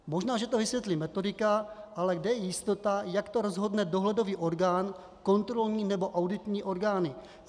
Možná že to vysvětlí metodika, ale kde je jistota, jak to rozhodne dohledový orgán, kontrolní nebo auditní orgány?